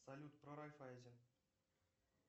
салют про райффайзен